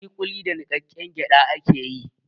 Ƙuliƙuli da niƙaƙƙen gyaɗa ake yi.